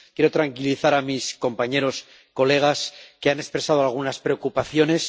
Quiero tranquilizar a mis compañeros, colegas, que han expresado algunas preocupaciones.